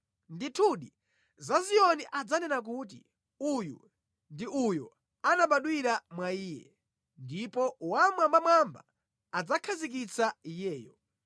Ndithudi, za Ziyoni adzanena kuti, “Uyu ndi uyo anabadwira mwa iye, ndipo Wammwambamwamba adzakhazikitsa iyeyo.”